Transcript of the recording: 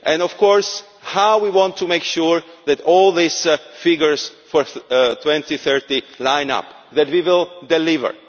Of course, we want to make sure that all these figures for 2030 line up, that we will deliver.